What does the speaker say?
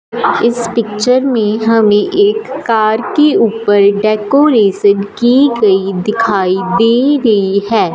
इस पिक्चर में हमें एक कार की ऊपर डेकोरेशन की गई दिखाई दे रही है।